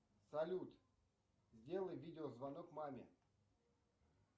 салют сделай видеозвонок маме